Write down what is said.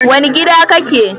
Wane gida kake?